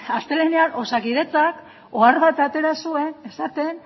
astelehenean osakidetzak ohar bat atera zuen esaten